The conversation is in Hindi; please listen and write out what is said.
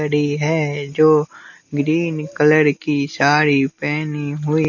घड़ी है जो ग्रीन कलर की साड़ी पहनी हुई।